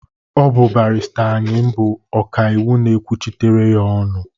Ọ bụ barịsta Ayịm bụ ọka iwu na-ekwuchitere ya ọnụ.